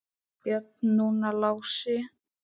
Björn, núna Lási.